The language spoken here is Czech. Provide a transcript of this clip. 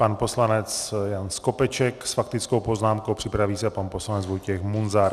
Pan poslanec Jan Skopeček s faktickou poznámkou, připraví se pan poslanec Vojtěch Munzar.